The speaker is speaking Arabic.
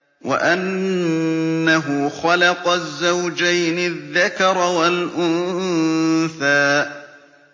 وَأَنَّهُ خَلَقَ الزَّوْجَيْنِ الذَّكَرَ وَالْأُنثَىٰ